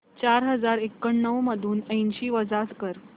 चार हजार एक्याण्णव मधून ऐंशी वजा कर